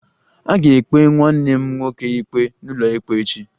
A ga-ekpe nwanne m nwoke ikpe n'ụlọikpe echi